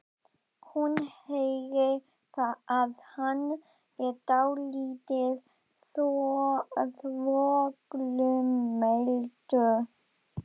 Hún heyrir að hann er dálítið þvoglumæltur.